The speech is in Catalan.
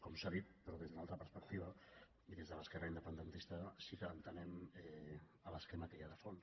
com s’ha dit però des d’una altra perspectiva i des de l’esquerra independentista sí que entenem l’esquema que hi ha de fons